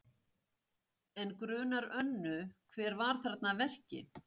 En grunar Önnu hver var þarna að verki?